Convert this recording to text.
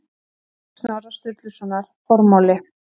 Víg Snorra Sturlusonar Formáli